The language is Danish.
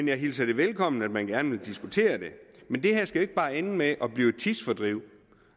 jeg hilser det velkommen at man gerne vil diskutere det men det her skal jo ikke bare ende med at blive et tidsfordriv